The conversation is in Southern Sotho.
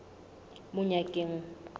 monyakeng